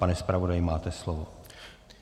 Pane zpravodaji, máte slovo.